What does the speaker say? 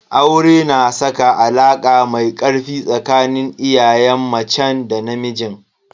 Aure na saka alaka mai ƙarfi tsakanin iyayen macen da namijin.